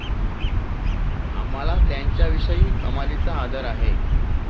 आम्हाला त्यांच्याविषयी कमालीचा आदर आहे.